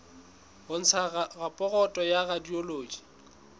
ho ntsha raporoto ya radiology